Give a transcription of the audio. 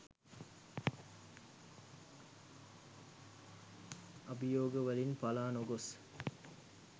අභියෝග වලින් පළා නොගොස්